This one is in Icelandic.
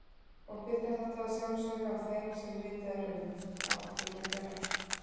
Og bitnar þetta að sjálfsögðu á þeim sem ritað er um, og ættingjum þeirra.